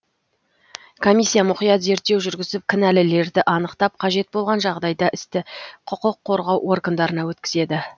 комиссия мұқият зерттеу жүргізіп кінәлілерді анықтап қажет болған жағдайда істі құқық қорғау органдарына өткізеді